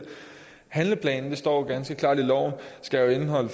handleplanen og det står ganske klart i loven skal indeholde